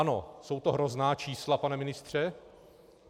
Ano, jsou to hrozná čísla, pane ministře.